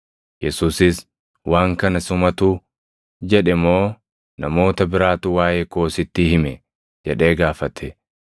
Yesuusis, “Waan kana sumatu jedhe moo namoota biraatu waaʼee koo sitti hime?” jedhee gaafate.